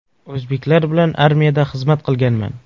O‘zbeklar bilan armiyada xizmat qilganman.